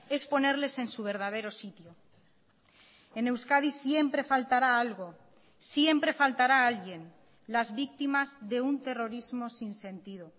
es ponerles en su verdadero sitio en euskadi siempre faltará algo siempre faltará alguien las víctimas de un terrorismo sin sentido